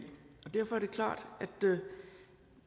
derfor er det klart at